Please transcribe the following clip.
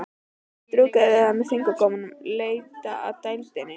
Strjúka yfir það með fingurgómunum, leita að dældinni.